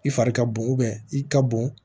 I fari ka bon i ka bon